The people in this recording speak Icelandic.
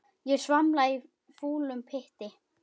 Ég svamla í fúlum pytti.